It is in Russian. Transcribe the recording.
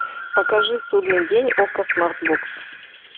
покажи судный день окко смартбокс